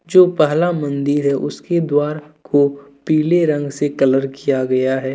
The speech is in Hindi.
जो पहला मंदिर है उसके द्वार को पीले रंग से कलर किया गया हैं।